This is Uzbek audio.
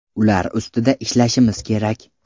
Ular ustida ishlashimiz kerak.